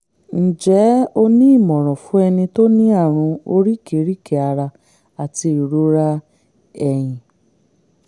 ǹjẹ́ o ní ìmọ̀ràn fún ẹni tó ní àrùn oríkèéríkèé ara àti ìrora ẹ̀yìn?